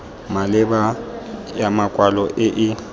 maleba ya makwalo e e